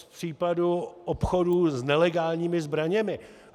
Z případu obchodů s nelegálními zbraněmi.